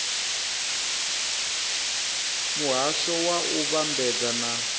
muhasho wa u vhambadza na